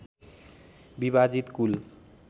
विभाजित कुल